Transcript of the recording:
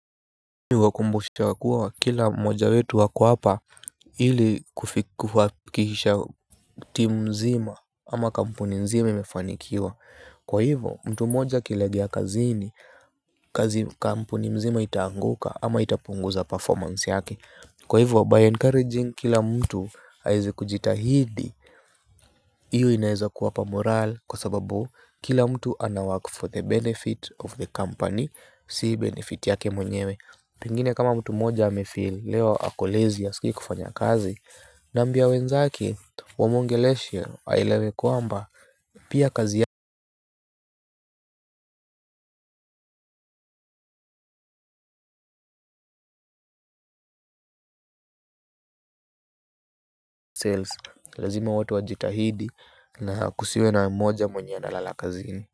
Wakumbusha wa kuwa kila moja wetu ako hapa ili kuhakikisha timu mzima ama kampuni mzima imefanikiwa. Kwa hivyo mtu mmoja akilegea kazini kampuni mzima itaanguka ama itapunguza performance yake. Kwa hivyo by encouraging kila mtu aweze kujitahidi hiyo inaweza kuwapa morale kwa sababu kila mtu ana work for the benefit of the company si benefit yake mwenyewe. Pengine kama mtu mmoja ame feel leo ako lazy hasiki kufanya kazi. Namwimbie wenzake wamwongeleshe aelewe kwamba pia kazi ya Sales lazima watu wajitahidi na kusiwe na mmoja mwenye analala kazini.